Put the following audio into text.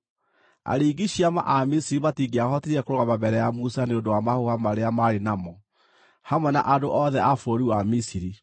Aringi ciama a Misiri matingĩahotire kũrũgama mbere ya Musa nĩ ũndũ wa mahũha marĩa maarĩ namo, hamwe na andũ othe a bũrũri wa Misiri.